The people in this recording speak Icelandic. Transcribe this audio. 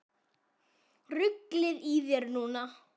Ruglið í þér núna!